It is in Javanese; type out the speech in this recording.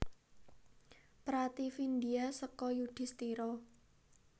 Prativindya seka Yudhistira